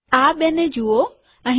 આ બેને જુઓ